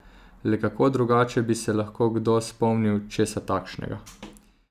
Le kako drugače bi se lahko kdo spomnil česa takšnega?